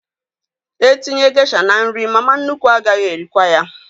E tinye gesha n'nri, mama nnukwu agaghị erikwa ya